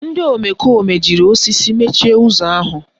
Ndị omekome jiri osisi mechie ụzọ ahụ